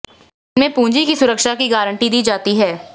इनमें पूंजी की सुरक्षा की गारंटी दी जाती है